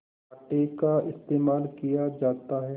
आटे का इस्तेमाल किया जाता है